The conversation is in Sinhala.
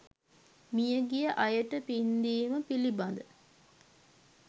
මියගිය අයට පින්දීම පිළිබඳ